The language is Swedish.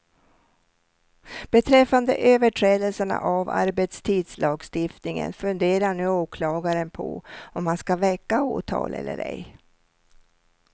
Beträffande överträdelserna av arbetstidslagstiftningen funderar nu åklagaren på om han ska väcka åtal eller ej.